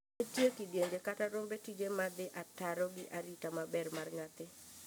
Nitie kidienje, kata romb tije ma dhii ataro gi arita maber mar nyathi.